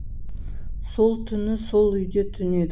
сол түні сол үйде түнедік